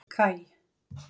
Kaj